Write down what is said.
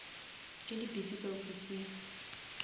ke le busy ka ofising